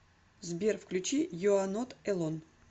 сбер включи ю а нот элон